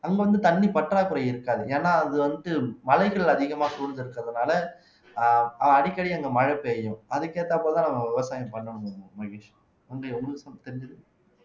அங்க வந்து தண்ணி பற்றாக்குறை இருக்காது ஏன்னா அது வந்துட்டு மலைகள் அதிகமா சூழ்ந்து இருக்கிறதுனால அடிக்கடி அங்க மழை பெய்யும் அதுக்கேத்தாப்பதான் நம்ம விவசாயம் பண்ண முடியும் மகேஷ்